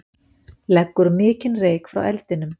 Leggur mikinn reyk frá eldinum